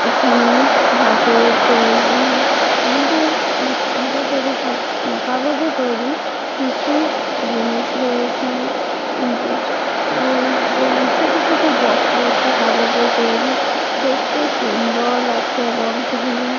এখানে হাতে তৈরী ইহাদের হাতে তৈরী কাগজের তৈরী কিছু জিনিস রয়েছে। একদম ছোট ছোট বক্স রয়েছে কাগজের তৈরী। দেখতে সুন্দর লাগছে বক্স গুলো।